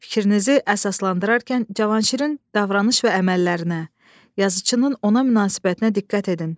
Fikrinizi əsaslandırarkən Cavanşirin davranış və əməllərinə, yazıçının ona münasibətinə diqqət edin.